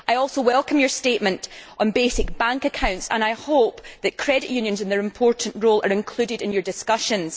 I also welcome your statement on basic bank accounts, Commissioner, and I hope that credit unions and their important role are included in your discussions.